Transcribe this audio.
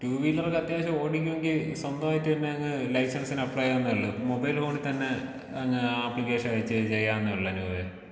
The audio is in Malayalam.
ടൂവീലറൊക്കെ അത്യാവശ്യം ഓടിക്കോങ്കി സ്വന്തമായിട്ട് തന്നെ അങ്ങ് ലൈസൻസിന് അപ്ലൈ ചെയ്യാൻ നല്ലത് മൊബൈൽ ഫോണിൽ തന്നെ അങ്ങ് അപ്ലിക്കേഷൻ വെച്ച് ചെയ്യാവുന്നതേയുള്ളൂ അനൂപേ.